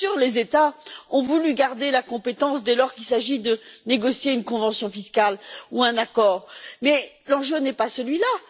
Bien sûr, les États ont voulu garder la compétence dès lors qu'il s'agit de négocier une convention fiscale ou un accord, mais l'enjeu n'est pas celui là.